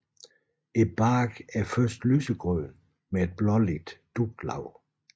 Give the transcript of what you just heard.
Barken er først lysegrøn med et blåligt duglag